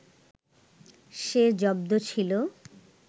সে জব্দ ছিল